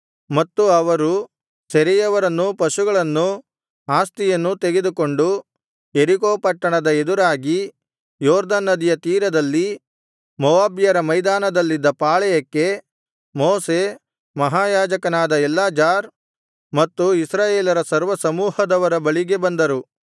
ಮತ್ತು ಅವರು ಸೆರೆಯವರನ್ನೂ ಪಶುಗಳನ್ನೂ ಆಸ್ತಿಯನ್ನೂ ತೆಗೆದುಕೊಂಡು ಯೆರಿಕೋ ಪಟ್ಟಣದ ಎದುರಾಗಿ ಯೊರ್ದನ್ ನದಿಯ ತೀರದಲ್ಲಿ ಮೋವಾಬ್ಯರ ಮೈದಾನದಲ್ಲಿದ್ದ ಪಾಳೆಯಕ್ಕೆ ಮೋಶೆ ಮಹಾಯಾಜಕನಾದ ಎಲ್ಲಾಜಾರ್ ಮತ್ತು ಇಸ್ರಾಯೇಲರ ಸರ್ವಸಮೂಹದವರ ಬಳಿಗೆ ಬಂದರು